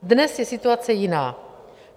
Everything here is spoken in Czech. Dnes je situace jiná.